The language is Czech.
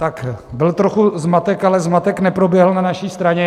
Tak byl trochu zmatek, ale zmatek neproběhl na naší straně.